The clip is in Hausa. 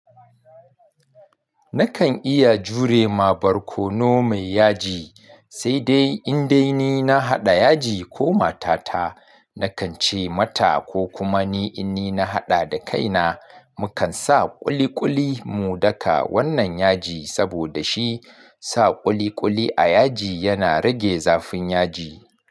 Nakan iya jure ma barkono mai yaji, sai dai in dai ni na haɗa yaji ko matata, nakan ce mata ko kuma ni in ni na haɗa da kaina, mukan sa ƙuliƙuli mu daka wannan yaji saboda shi sa ƙuliƙuli a yaji yana rage zafin yaji.